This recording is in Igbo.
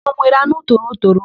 Ụnụ enwere anụ torotoro?